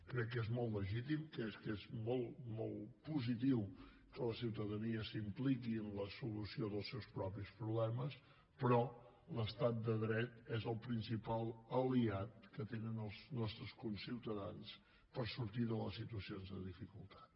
crec que és molt legítim crec que és molt positiu que la ciutadania s’impliqui en la solució dels seus propis problemes però l’estat de dret és el principal aliat que tenen els nostres conciutadans per sortir de les situacions de dificultat